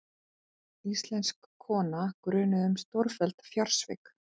Íslensk kona grunuð um stórfelld fjársvik